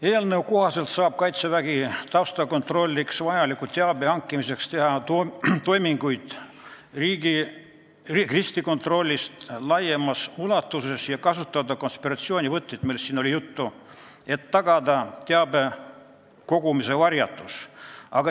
Eelnõu kohaselt saab Kaitsevägi taustakontrolliks vajaliku teabe hankimiseks teha toiminguid riskikontrollist laiemas ulatuses ja kasutada konspiratsioonivõtteid, millest siin juttu oli, et tagada teabe kogumise varjatus.